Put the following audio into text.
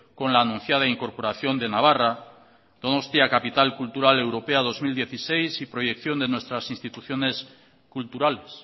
con la anunciada incorporación de navarra donostia capital cultural europea dos mil dieciséis y proyección de nuestras instituciones culturales